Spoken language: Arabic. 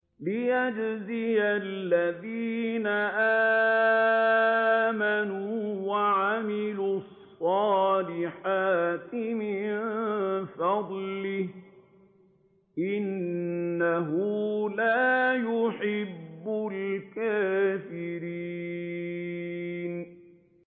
لِيَجْزِيَ الَّذِينَ آمَنُوا وَعَمِلُوا الصَّالِحَاتِ مِن فَضْلِهِ ۚ إِنَّهُ لَا يُحِبُّ الْكَافِرِينَ